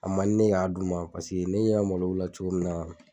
A ma ne k'a d'u ma pase ne yɛ malow la cogo min na